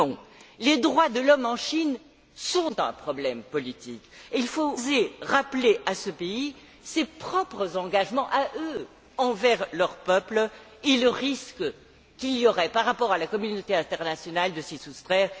Non. Les droits de l'homme en Chine sont un problème politique et il faut oser rappeler à ce pays ses propres engagements envers son peuple et le risque qu'il y aurait par rapport à la communauté internationale de s'y soustraire.